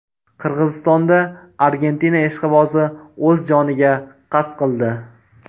Qirg‘izistonda Argentina ishqibozi o‘z joniga qasd qildi.